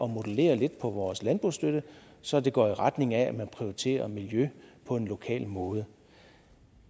modellere lidt på vores landbrugsstøtte så det går i retning af at man prioriterer miljø på en lokal måde